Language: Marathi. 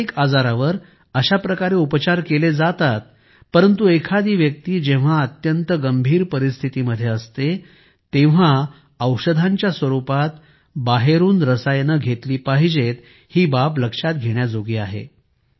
मानसिक आजारावर अशा प्रकारे उपचार केले जातात परंतु एखादी व्यक्ती जेव्हा अत्यंत गंभीर परिस्थिती मध्ये असते केवळ तेव्हाच औषधांच्या स्वरूपात बाहेरून रसायने घेतली पाहिजेत ही बाब लक्षात घेण्याजोगी आहे